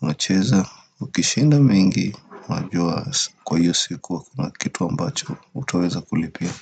unacheza ukishinda mingi unajua kwa hiyo sikuwa kuna kitu ambacho utaweza kulipia.